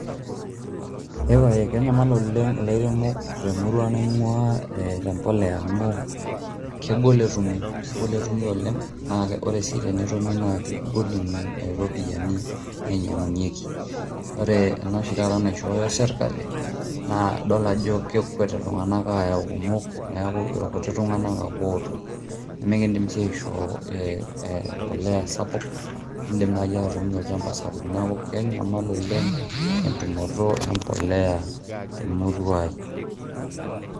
eepaye kenyamal oleng' ilairemok temurua naing'ua tembolea amu kegol etumi naa naa ore sii tenetumi naa kegol iropiyiani nainyang'unyieki, ore ena oshi taata naishoyo sirkali naa idol ajo kekwet iltung'anak apuo ayau , neeku ilkutik tung'anak ake ootum nimikidim sii aishoo embolea esapuk .